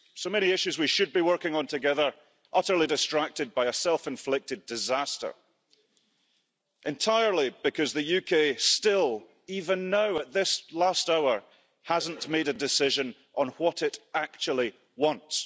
So many issues we should be working on together utterly distracted by a self inflicted disaster, entirely because the UK still even now at this last hour hasn't made a decision on what it actually wants.